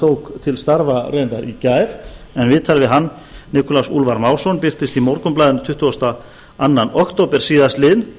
tók til starfa reyndar í gær en viðtal við hann nikulás úlfar másson birtist í morgunblaðinu tuttugasta og önnur október síðastliðinn